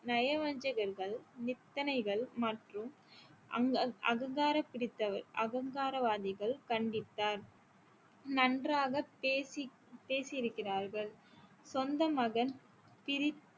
நயவஞ்சகர்கள் நித்தனைகள் மற்றும் அங்க~ அகங்காரம் பிடித்தவர் அகங்கார வாதிகள் கண்டித்தார் நன்றாக பேசி~ பேசி இருக்கிறார்கள் சொந்த மகன் பிரி